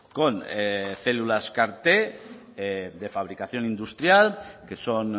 con células car t de fabricación industrial que son